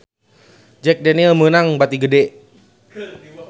Jack Daniel's meunang bati gede